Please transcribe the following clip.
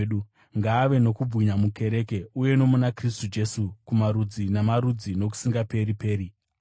ngaave nokubwinya mukereke uye nomuna Kristu Jesu kumarudzi namarudzi, nokusingaperi-peri! Ameni.